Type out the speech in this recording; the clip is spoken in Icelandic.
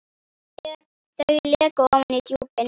Þau leka ofan í djúpin.